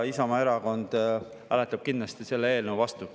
Isamaa Erakond hääletab kindlasti selle eelnõu vastu.